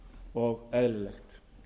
og eðlilegt